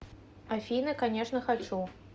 афина конечно хочу